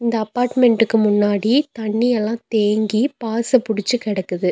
இந்த அபார்ட்மெண்ட்க்கு முன்னாடி தண்ணி எல்லா தேங்கி பாச புடிச்சி கெடக்குது.